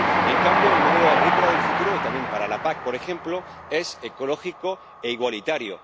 En cambio, el modelo agrícola del futuro y también para la PAC, por ejemplo, es ecológico e igualitario.